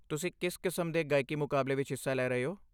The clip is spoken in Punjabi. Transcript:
ਤੁਸੀਂ ਕਿਸ ਕਿਸਮ ਦੇ ਗਾਇਕੀ ਮੁਕਾਬਲੇ ਵਿੱਚ ਹਿੱਸਾ ਲੈ ਰਹੇ ਹੋ?